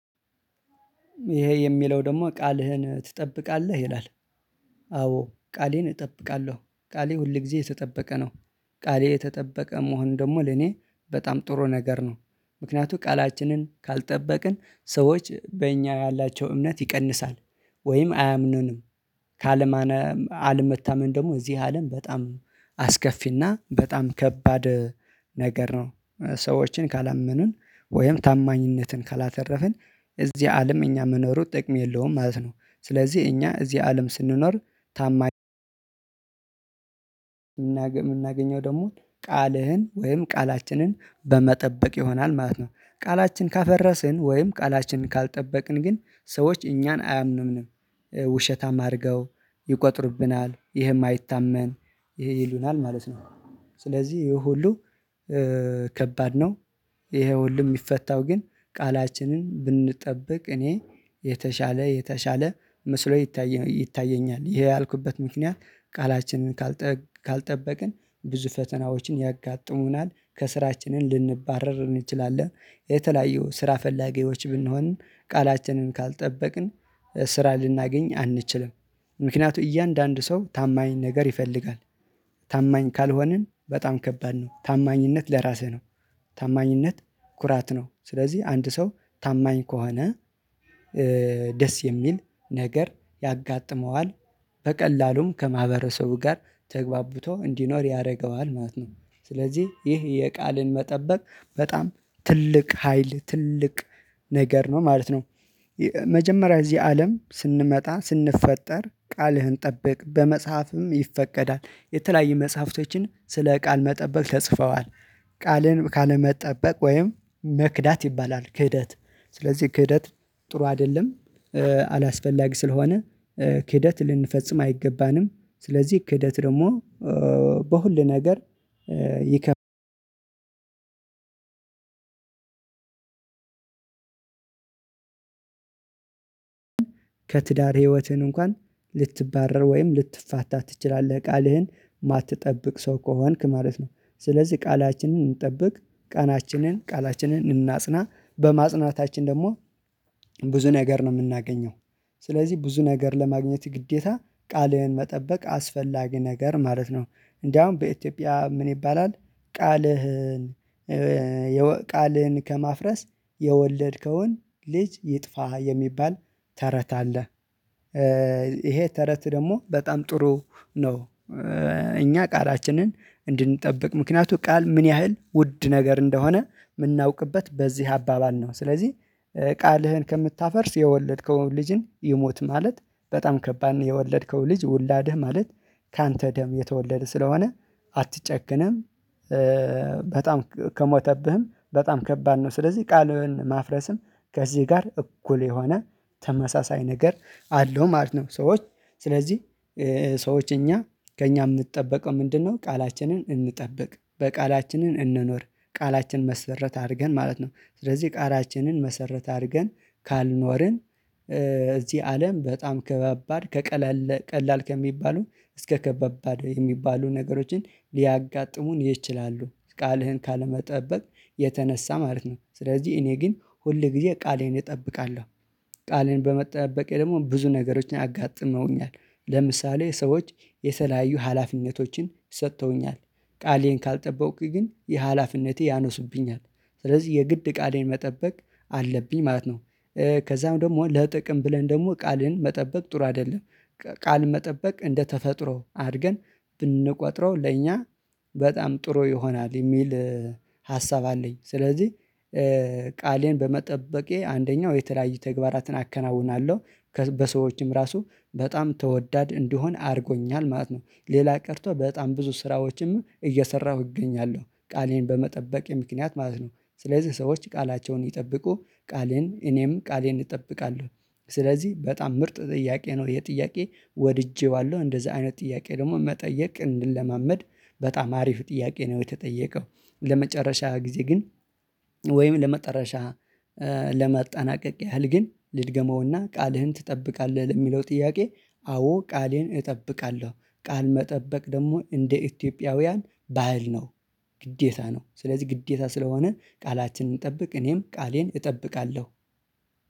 ይሄ የሚለው ደግሞ ቃልህን ትጠብቃለህ ይላል? አዎ ቃሌን እጠብቃለሁ ቃሌ ሁል ጊዜ የተጠበቀ ነው። ቃሌ የተጠበቀ መሆኑ ደግሞ ለኔ በጣም ጥሩ ነገር ነው። ምክንያቱም ቃላችንን ካልጠበቅን ሰዎች በእኛ ያላቸው እምነት ይቀንሳል። ወይም አያምኑንም። ካለመታመን ደግሞ እዚህ አለም በጣም አስከፊና በጣም ከባድ ነገር ነው። ሰዎችን ካላመኑን ወይም ታማኝነትን ካላተረፍን እዚህ አለም እኛ መኖሩ ጥቅም የለውም ማለት ነው። ስለዚህ እኛ እዚህ አለም ስንኖር ታማኝ የምናገኘው ደግሞ ቃልህን ወይም ቃላችንን በመጠበቅ ይሆናል ማለት ነው። ቃላችን ካፈረስን ወይም ቃላችን ካልጠበቅን ግን ሰዎች እኛን አያምኑንም። ውሸታም አድርገው ይቆጥሩብናል ይሄ ማይታመን ይሉናል ማለት ነው። ስለዚህ ይሄ ሁሉ ከባድ ነው። ይሄ ሁሉ የሚፈታው ግን ቃላችንን ብንጠብቅ እኔ የተሻለ የተሻለ መስሎ ይታየኛል። ይሄን ያልኩበት ምክንያት ቃላችንን ካልጠበቅን ብዙ ፈተናዎችን ያጋጥሙናል። ከስራችንን ልንባረር እንችላለን የተለያዩ ስራ ፈላጊዎች ብንሆን ቃላችንን ካልጠበቅን። ስራ ልናገኝ አንችልም። ምክንያቱም እያንዳንዱ ሰው ታማኝ ነገር ይፈልጋል። ታማኝ ካልሆንን በጣም ከባድ ነው ታማኝነት ለራስህ ነው። ታማኝነት ኩራት ነው። ስለዚህ አንድ ሰው ታማኝ ከሆነ ደስ የሚል ነገር ያጋጥመዋል። በቀላሉም ከማህበረሰቡ ጋር ተግባብቶ እንዲኖር ያደርገዋል ማለት ነው። ስለዚህ ይህ የቃልን መጠበቅ በጣም ትልቅ ሀይል ትልቅ ነገር ነው ማለት ነው። መጀመሪያ እዚህ አለም ስንመጣ ስንፈጠር ቃልህን ጠብቅ በመጽሐፍም ይፈቀዳል የተለያየ መጽሐፍቶችን ስለ ቃል መጠበቅ ተጽፈዋል። ቃልን ካለመጠበቅ ወይም መክዳት ይባላል ክህደት ስለዚህ ክህደት ጥሩ አይደለም። አላስፈላጊ ስለሆነ ክህደት ልንፈጽም አይገባንም። ስለዚህ ክህደት ደግሞ በሁሉ ነገር ይከፍ ከትዳር ህይወትን እንኳን ልትባረር ወይም ልትፋታ ትችላለህ ቃልህን የማትጠብቅ ሰው ከሆንክ ማለት ነው። ስለዚህ ቃላችንን እንጠብቅ። ቃላችንን ቃላችንን እናጽና በማጽናታችን ደግሞ ብዙ ነገር ነው የምናገኘው። ስለዚህ ብዙ ነገር ለማግኘት ግዴታ ቃልህን መጠበቅ አስፈላጊ ነገር ማለት ነው። እንደውም በኢትዮጵያ ምን ይባላል? ቃልህን ቃልህን ከማፍረስ የወለድከውን ልጅ ይጥፋ የሚባል ተረት አለ። ይሄ ተረት ደግሞ በጣም ጥሩ ነው። እኛ ቃላችንን እንድንጠብቅ ምክንያቱ ቃል ምን ያህል ውድ ነገር እንደሆነ የምናውቅበት በዚህ አባባል ነው። ስለዚህ ቃልህን ከምታፈርስ የወለድከውን ልጅን ይሙት ማለት በጣም ከባድ ነው። የወለድከውን ልጅ ውላድህ ማለት ካንተ ደም የተወለደ ስለሆነ አትጨክንም። በጣም ከሞተብህም በጣም ከባድ ነው። ስለዚህ ቃሉን ማፍረስም ከዚህ ጋር እኩል የሆነ ተመሳሳይ ነገር አለው ማለት ነው። ሰዎች ስለዚህ ሰዎች እኛ ከእኛ የሚጠበቀው ምንድነው? ቃላችንን እንጠብቅ በቃላችንን እንኖር ቃላችን መሰረት አድርገን ማለት ነው። ስለዚህ ቃላችንን መሰረት አድርገን ካልኖርን እዚህ አለም በጣም ከበባድ ከቀለል ከሚባሉ እስከ ከባባድ የሚባሉ ነገሮችን ሊያጋጥሙን ይችላሉ። ቃልህን ካለመጠበቅ የተነሳ ማለት ነው ስለዚህ እኔ ግን ሁል ጊዜ ቃሌን እጠብቃለሁ። ቃሌን በመጠበቄ ደግሞ ብዙ ነገሮችን አጋጥመውኛል። ለምሳሌ ሰዎች የተለያዩ ሀላፊነቶችን ሰጥተውኛል። ቃሌን ካልጠበቅኩኝ ግን የሀላፊነቴ ያነሱብኛል። ስለዚህ የግድ ቃሌን መጠበቅ አለብኝ ማለት ነው። ከዛም ደግሞ ለጥቅም ብለን ደግሞ ቃልን መጠበቅ ጥሩ አይደለም። ቃል መጠበቅ እንደተፈጥሮ አድርገን ብንቆጥረው ለእኛ በጣም ጥሩ ይሆናል የሚል ሀሳብ አለኝ። ስለዚህ ቃሌን በመጠበቄ አንደኛው የተለያዩ ተግባራትን አከናውናለሁ። በሰዎችም ራሱ በጣም ተወዳድ እንደሆነ አድርጎኛል ማለት ነው። ሌላ ቀርቶ በጣም ብዙ ስራዎችም እየሰራሁ እገኛለሁ ቃሌን በመጠበቄ ምክንያት ማለት ነው። ስለዚህ ሰዎች ቃላቸውን ይጠብቁ ቃሌን እኔም ቃሌን እጠብቃለሁ። ስለዚህ በጣም ምርጥ ጥያቄ ነው። ይሄ ጥያቄ ወድጄዋለሁ እንደዚህ አይነት ጥያቄ ደግሞ መጠየቅ እንለማመድ። በጣም አሪፍ ጥያቄ ነው የተጠየቀው። ለመጨረሻ ጊዜ ግን ወይም ለመጠረሻ ለማጠናቀቅ ያህል ግን ልድገመውና ቃልህን ትጠብቃለህ ለሚለው ጥያቄ? አዎ ቃሌን እጠብቃለሁ። ቃል መጠበቅ ደግሞ እንደ ኢትዮጵያውያን ባህል ነው። ግዴታ ነው ስለዚህ ግዴታ ስለሆነ ቃላችንን እንጠብቅ እኔም ቃሌን እጠብቃለሁ